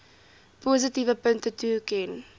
positiewe punte toeken